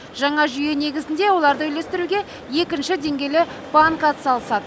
жаңа жүйе негізінде оларды үлестіруге екінші деңгейлі банк атсалысады